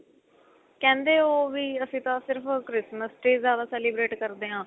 ਕਹਿੰਦੇ ਉਹ ਵੀ ਅਸੀਂ ਤਾਂ ਸਿਰਫ Christmas ਤੇ ਜਿਆਦਾ celebrate ਕਰਦੇ ਆ